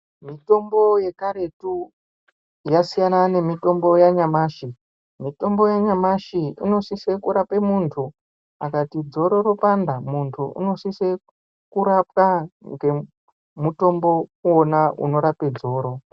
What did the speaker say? Mitombo yekaretu yasiyana nemitombo yanyamashi, mitombo yanyamashi inosise kurape muntu akati dzoro ropanda muntu unosise kurapwa ngemutombo iwona unorape dzoro.